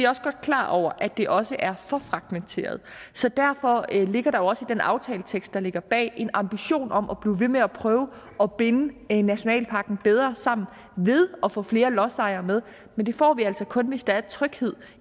også godt klar over at det også er så derfor ligger der også i den aftaletekst der ligger bag en ambition om at blive ved med at prøve at binde nationalparken bedre sammen ved at få flere lodsejere med men det får vi altså kun hvis der er tryghed